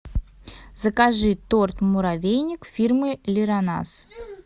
закажи торт муравейник фирмы лиронас